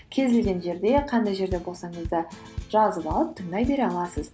кез келген жерде қандай жерде болсаңыз да жазып алып тыңдай бере аласыз